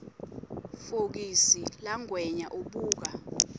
fokisi langwenya ubuka